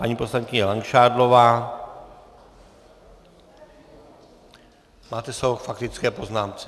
Paní poslankyně Langšádlová, máte slovo k faktické poznámce.